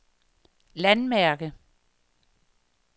landmærke